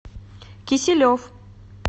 киселев